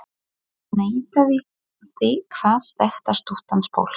Hann neitaði því, kvað þetta stuttan spöl